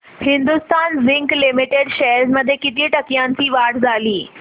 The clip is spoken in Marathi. हिंदुस्थान झिंक लिमिटेड शेअर्स मध्ये किती टक्क्यांची वाढ झाली